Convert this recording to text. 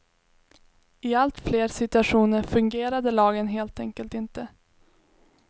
I allt fler situationer fungerade lagen helt enkelt inte.